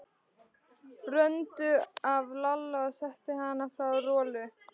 Bröndu af Lalla og setti hana hjá Rolu.